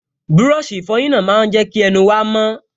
Búrọ̀sì ìfọyín náà máa n jẹ́ kí ẹnu wa mọ́